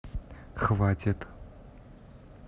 хватит